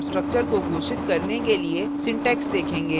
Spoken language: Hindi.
अब हम structure को घोषित करने के लिए syntax देखेंगे